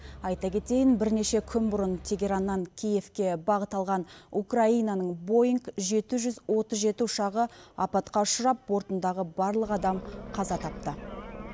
айта кетейін бірнеше күн бұрын тегераннан киевке бағыт алған украинаның боинг жеті жүз отыз жеті ұшағы апатқа ұшырап бортындағы барлық адам қаза тапты